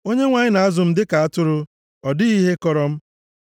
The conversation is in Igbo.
Onyenwe anyị na-azụ m dịka atụrụ, ọ dịghị ihe akọrọ m.